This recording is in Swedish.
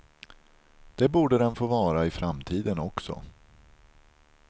Det borde den få vara i framtiden också.